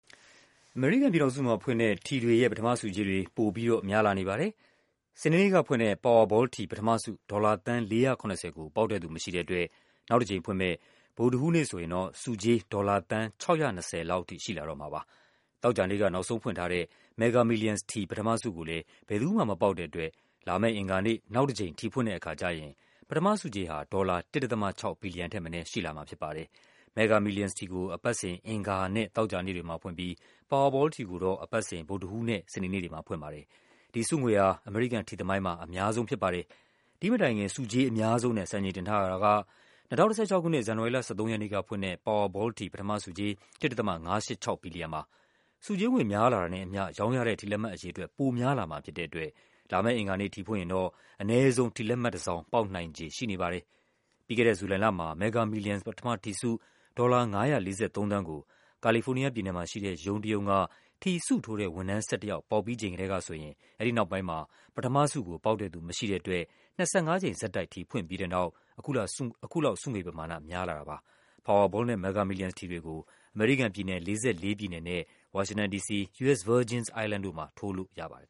အမေရိကန်ပြည်ထောင်စုမှာဖွင့်တဲ့ ထီတွေရဲ့ ပထမဆုကြေးတွေ ပိုပြီးတော့ များလာပါတယ်။ စနေနေ့ကဖွင့်တဲ့ Powerball ထီ ပထမဆု ဒေါ်လာ သန်း ၄၇၀ ကို ပေါက်တဲ့သူမရှိတဲ့အတွက် နောက်တကြိမ်ဖွင့်မယ့် ဗုဒ္ဓဟူးနေ့ ဆိုရင် ဆုကြေး ဒေါ်လာ သန်း ၆၂၀ လောက်အထိ ရှိလာတော့မှာပါ။ သောကြာနေ့က နောက်ဆုံးဖွင့်ထားတဲ့ Mega Millions ထီ ပထမဆုကိုလည်း ဘယ်သူမှမပေါက်တဲ့အတွက် လာမယ့်အင်္ဂါနေ့ နောက်တကြိမ် ထီဖွင့်တဲ့အခါကျရင် ပထမဆုကြေးဟာ ဒေါ်လာ ၁.၆ ဘီလီယံထက်မနည်း ရှိလာမှာဖြစ်ပါတယ်။ ဒီဆုငွေဟာ အမေရိကန်ထီသမိုင်းမှာ အများဆုံးဖြစ်ပါတယ်။ ဒီ့မတိုင်ခင် ဆုကြေးအများဆုံးနဲ့ စံချိန်တင်ထားတာက ၂၀၁၆ ခုနှစ် ဇန်နဝါရီလ ၁၃ ရက်နေ့ကဖွင့်တဲ့ Powerball ထီ ပထမဆုကြေး ၁.၅၈၆ ဘီလီယံပါ။ ဆုကြေးငွေ များလာတာနဲ့အမျှ ရောင်းရတဲ့ ထီလက်မှတ်အရေအတွက် ပိုများလာမှာဖြစ်တဲ့အတွက် လာမယ့် အင်္ဂါနေ့ ထီဖွင့်ရင် တော့ အနည်းဆုံး လက်မှတ်တစောင် ပေါက်နိုင်ခြေရှိနေပါတယ်။ ပြီးခဲ့တဲ့ ဇူလိုင်လမှာ Mega Millions ပထမထီဆု ဒေါ်လာ ၅၄၃ သန်းကို ကာလီဖိုးနီးယားပြည်နယ်၊ ရုံးတရုံးက ထီဆုထိုးတဲ့ ဝန်ထမ်း ၁၁ ယောက် ပေါက်ပြီးကတည်းက နောက်ပိုင်းမှာ ပထမဆုပေါက်တဲ့သူမရှိတဲ့အတွက် ၂၅ ကြိမ်ထိ ဖွင့်ပြီးတဲ့နောက် အခုလောက် ဆုငွေပမာဏ များလာတာဖြစ်ပါတယ်။ Powerball နဲ့ Mega Millions ထီတွေကို အမေရိကန်ပြည်နယ် ၄၄ ပြည်နယ်နဲ့ ဝါရှင်တန် ဒီစီ၊ U. S. Virgin Islands တို့မှာ ထိုးလို့ရပါတယ်